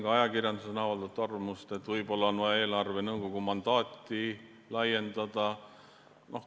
Ka ajakirjanduses on avaldatud arvamust, et võib-olla on vaja eelarvenõukogu mandaati laiendada.